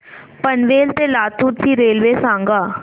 पनवेल ते लातूर ची रेल्वे सांगा